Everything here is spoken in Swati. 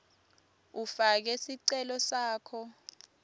ufake sicelo sakho